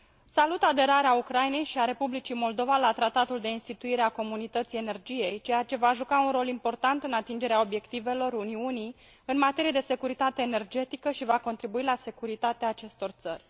Salut aderarea Ucrainei și a Republicii Moldova la Tratatul de instituire a Comunității Energiei, ceea ce va juca un rol important în atingerea obiectivelor Uniunii în materie de securitate energetică și va contribui la securitatea acestor țări.